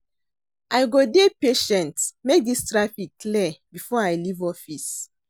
I go dey patient make dis traffic clear before I leave office.